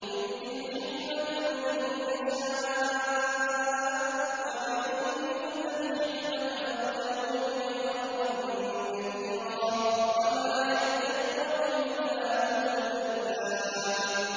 يُؤْتِي الْحِكْمَةَ مَن يَشَاءُ ۚ وَمَن يُؤْتَ الْحِكْمَةَ فَقَدْ أُوتِيَ خَيْرًا كَثِيرًا ۗ وَمَا يَذَّكَّرُ إِلَّا أُولُو الْأَلْبَابِ